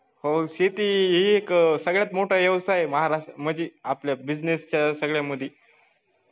हो शेती ही एक सगळ्यात मोठा व्यवसाय आहे महाराष्ट्रात म्हणजे आपल्या business च्या सगळ्यांमध्ये